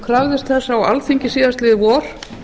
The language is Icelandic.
krafðist þess á alþingi síðastliðið vor